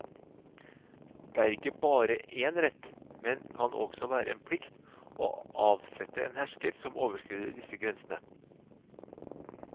Det er ikke bare en rett, men kan også være en plikt, å avsette en hersker som overskrider disse grensene.